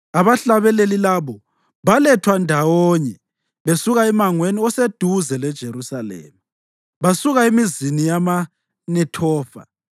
Abahlabeleli labo balethwa ndawonye besuka emangweni oseduze leJerusalema, basuka emizini yamaNethofa,